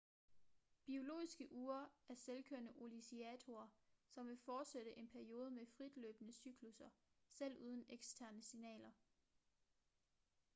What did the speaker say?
biologiske ure er selvkørende oscillatorer som vil fortsætte en periode med fritløbende cyklusser selv uden eksterne signaler